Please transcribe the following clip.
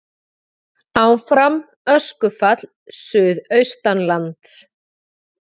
Áfram öskufall suðaustanlands